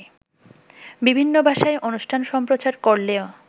বিভিন্ন ভাষায় অনুষ্ঠান সম্প্রচার করলেও